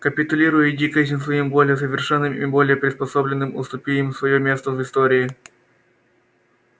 капитулируй и иди к этим своим более совершенным и более приспособленным уступи им своё место в истории